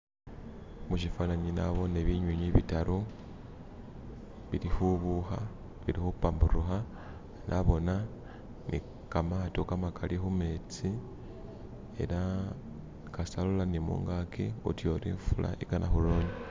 Mushifanani nabone binyunyi bitaru bili khubukha bili khupamburukha nabona ni khamato makhali khumetsi ela kasita alola ni mungaki oduoti ifula igana khuronya